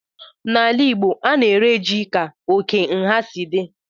N'ala igbo, a na-ere ji ka oke nha si dị